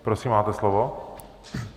Prosím, máte slovo.